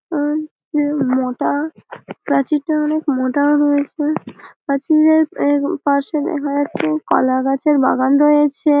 মোটা কাঁধি টা অনেক মোচা ও রয়েছে। কাঁধি টার পাশে দেখা যাচ্ছে কলা গাছের বাগান রয়েছে।